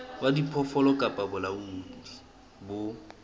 wa diphoofolo kapa bolaodi bo